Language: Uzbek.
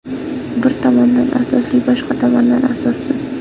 Bir tomondan asosli, boshqa tomondan asossiz.